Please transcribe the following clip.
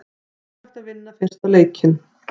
Mikilvægt að vinna fyrsta leikinn